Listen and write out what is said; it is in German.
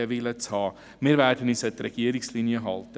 Wir werden uns an die Linie der Regierung halten.